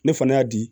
Ne fana y'a di